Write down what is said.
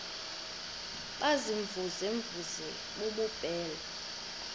baziimvuze mvuze bububele